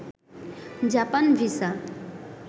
Japan visa